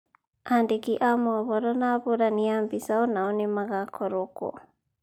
Aandĩki a mohoro na ahũrani a mbica o nao nĩ magakorũo kuo.